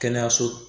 Kɛnɛyaso